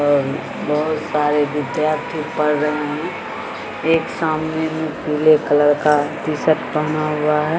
और बहुत सारे विद्यार्थी पढ़ रहे हैं एक सामने मे पीले कलर का टीशर्ट पहना हुआ है ।